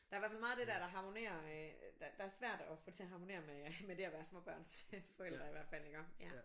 Der er i hvert fald meget af det der der harmonerer øh der der svært at få til at harmonere med med det at være småbørnsforældre i hvert fald iggå